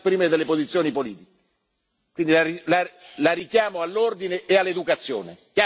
Si calmi perché qui non dobbiamo litigare, dobbiamo soltanto esprimere delle posizioni politiche.